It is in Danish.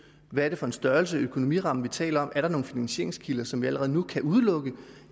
hvad er det for en størrelse økonomiramme vi taler om er der nogle finansieringskilder som vi allerede nu kan udelukke